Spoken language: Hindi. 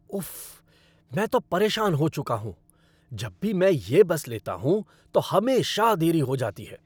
उफ्फ, मैं तो परेशान हो चुका हूँ! जब भी मैं यह बस लेता हूँ तो हमेशा देरी हो जाती है।